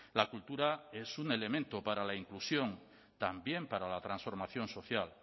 la cultura es un elemento para la inclusión también para la transformación social